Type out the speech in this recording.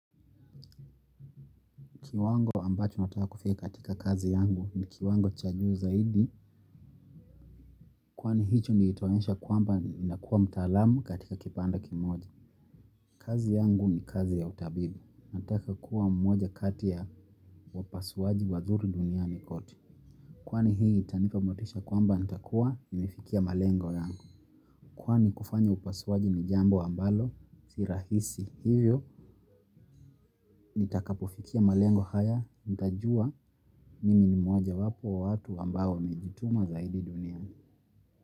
Kiwango ambacho nataka kufika katika kazi yangu ni kiwango cha juu zaidi. Kwani hicho ni itaonyesha kwamba ninakuwa mtaalamu katika kipande kimoja. Kazi yangu ni kazi ya utabibu. Nataka kuwa mmoja kati ya wapasuaji wazuri duniani kote. Kwani hii itanipa motisha kwamba nitakuwa nimefikia malengo yangu. Kwani kufanya upasuaji ni jambo ambalo si rahisi. Hivyo, nitakapofikia malengo haya, nitajua mimi ni mmoja wapo wa watu ambao wamejituma zaidi duniani.